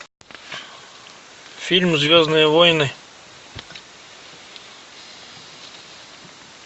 фильм звездные войны